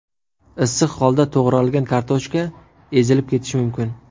Issiq holda to‘g‘ralgan kartoshka ezilib ketishi mumkin.